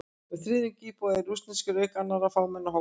Um þriðjungur íbúanna eru rússneskir, auk annarra fámennari hópa.